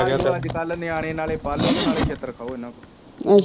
ਆ ਵੇਖਲੋ ਅਜਕਲ ਨਾਲੇ ਨਿਆਣੇ ਪਾਲੋ ਤੇ ਨਾਲੇ ਛਿੱਤਰ ਖਾਓ ਇਹਨਾਂ ਕੋ